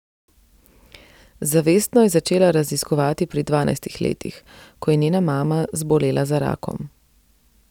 Zavestno je začela raziskovati pri dvanajstih letih, ko je njena mama zbolela za rakom.